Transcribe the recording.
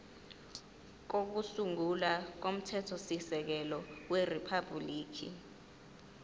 kokusungula komthethosisekelo weriphabhuliki